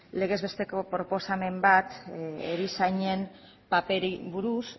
legez besteko proposamen bat erizainen paperari buruz